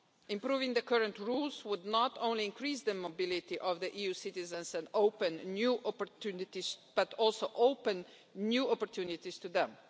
Improving the current rules would not only increase the mobility of EU citizens and open new opportunities, but also open new opportunities to them.